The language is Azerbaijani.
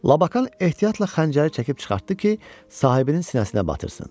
Lakan ehtiyatla xəncəri çəkib çıxartdı ki, sahibinin sinəsinə batırsın.